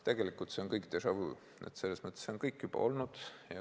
Tegelikult see kõik on déjà-vu, selles mõttes, et see kõik on juba olnud.